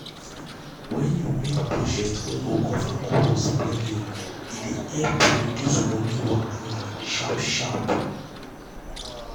wen you make budget wey go cover all your spending e dey help reduce money wahala sharp sharp.